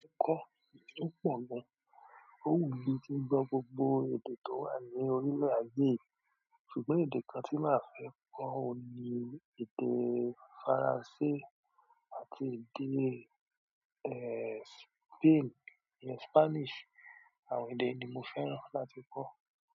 Kọ́, tó pọ̀ gan, ó wù mí tí gbọ́ gbogbo èdè tó wà ní orílé ayé. Ṣùgbọ́n èdè kan tí màá fẹ́ kọ́ ọ ní èdè Faransé àti èdè, eh, Spain, Spanish àwọn èdè yi ni mo fẹ́ràn láti kọ́.